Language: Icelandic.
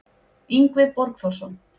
Yngvi Borgþórsson